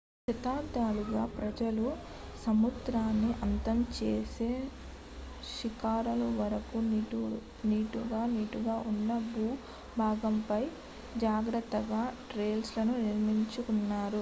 శతాబ్దాలుగా ప్రజలు సముద్రాన్ని అంతం చేసే శిఖరాల వరకు నిటారుగా నిటారుగా ఉన్న భూభాగంపై జాగ్రత్తగా టెర్రస్ లను నిర్మించుకున్నారు